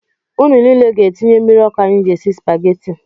Nnu niile ga-etinye mmiri ọkụ anyị ji esi Spageti